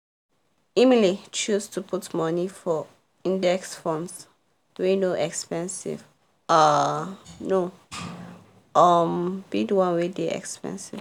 emily choose to put money for index funds wey no expensive um no um be the one wey dey expensive